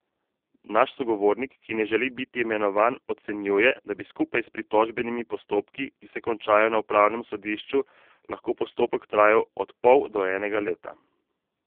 Naš sogovornik, ki ne želi biti imenovan, ocenjuje, da bi skupaj s pritožbenimi postopki, ki se končajo na upravnem sodišču, lahko postopek trajal od pol do enega leta.